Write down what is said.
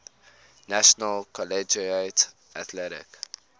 national collegiate athletic